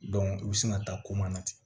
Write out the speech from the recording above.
u bɛ sin ka taa koma na ten